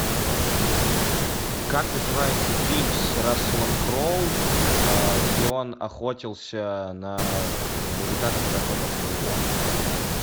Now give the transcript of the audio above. как называется фильм с расселом кроу где он охотился на мужика который охотился на него